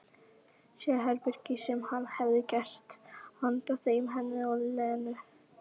Sérherbergin sem hann hefði gert handa þeim, henni og Lenu.